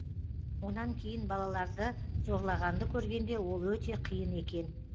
онан кейін балаларды зорлағанды көргенде ол өте қиын екен